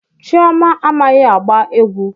Chioma amaghi agba egwu